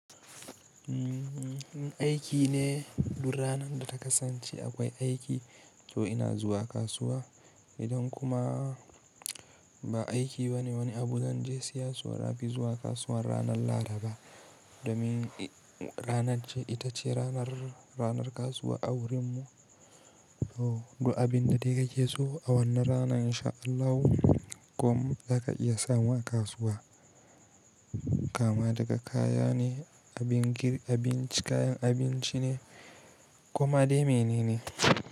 In aiki ne duk ranan da ta kasance akwai aiki to ina zuwa kasuwa. Idan kuma ba aiki ba ne wani abu zan je siya so nafi zuwa kasuwan ranar Laraba domin ranar ce ita ce ranar, ranar kasuwa a wurin mu. Oh, duk abin da dai kake so a wannan ranan in sha Allahu kuma zaka iya samu a kasuwa. Kama daga kaya ne, abin girki abin kayan abinci ne koma dai menene.